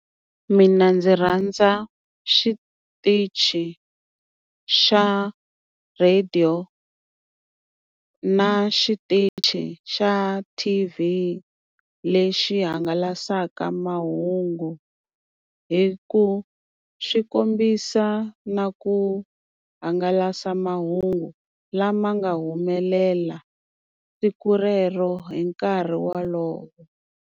Mina ndzi rhandza xitichi xa radio, na xitichi xa T_V lexi hangalasaka mahungu hi ku xi kombisa na ku hangalasa mahungu lama nga humelela siku rero hi nkarhi wolowo.